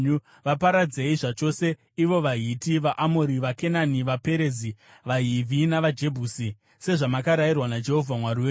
Vaparadzei zvachose, ivo vaHiti, vaAmori, vaKenani, vaPerizi, vaHivhi navaJebhusi, sezvamakarayirwa naJehovha Mwari wenyu.